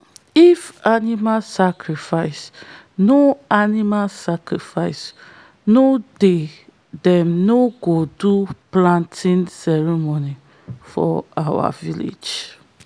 if animal sacrifice no animal sacrifice no dey them no go do planting ceremony for our village.